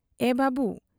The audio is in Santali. ᱮ ᱵᱟᱵᱹᱩ ᱾